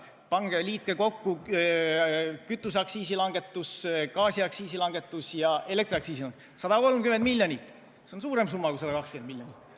Liitke kokku kütuseaktsiisi langetus, gaasiaktsiisi langetus ja elektriaktsiisi langetus: 130 miljonit, see on suurem summa kui 120 miljonit.